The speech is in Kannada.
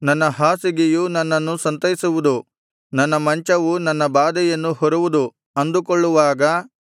ನನ್ನ ಹಾಸಿಗೆಯು ನನ್ನನ್ನು ಸಂತೈಸುವುದು ನನ್ನ ಮಂಚವು ನನ್ನ ಬಾಧೆಯನ್ನು ಹೊರುವುದು ಅಂದುಕೊಳ್ಳುವಾಗ